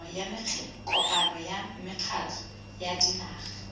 kopano ya mekgatlho ya dinaga